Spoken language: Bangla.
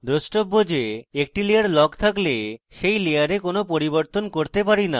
দ্রষ্টব্য যে একটি layer লক থাকলে আমরা সেই layer কোনো পরিবর্তন করতে পারি note